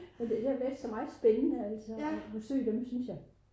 Det har været så meget spændende at besøge dem altså